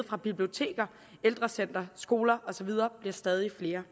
fra biblioteker ældrecentre skoler og så videre bliver stadig flere